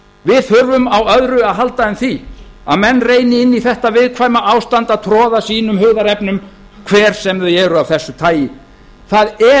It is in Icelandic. við þurfum á öðru að halda en því að menn reyni inn í þetta viðkvæma ástand að troða sínum hugðarefnum hver sem þau eru af þessu tagi það er